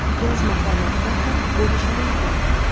yozma holatda ham bo‘lishi mumkin.